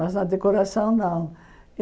Mas na decoração, não.